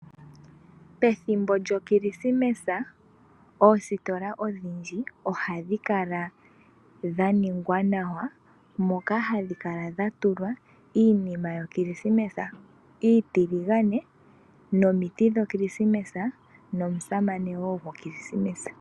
Pethimbo lyoKilisimesa oositola odhindji oha dhi kala dha ningwa nawa, moka ha dhi kala dha tulwa iinima yo Kilisimesa iitiligane, nomiti dhoKilisimesa nomusamane wo goKilisimesa.